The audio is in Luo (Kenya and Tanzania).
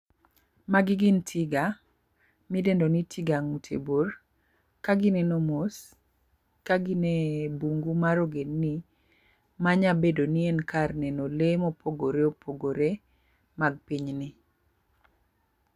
Magi gin tiga midendo ni tiga ng'ute bor ka gineno mos ka gin e bungu mar ogendni manya bedo ni en kar neno lee mopogore opogore mag pinyni.